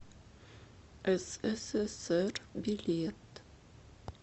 ссср билет